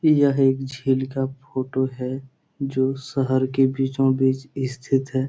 यह एक झील का फोटो है जो शहर के बीचो बीच स्थित है ।